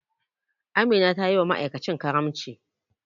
Amina tayiwa ma'aikacin karamci.